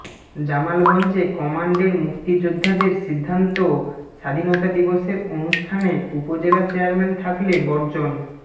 জামালগঞ্জে কমান্ডের মুক্তিযোদ্ধাদের সিদ্ধান্ত স্বাধীনতা দিবসের অনুষ্ঠানে উপজেলা চেয়ারম্যান থাকলে বর্জন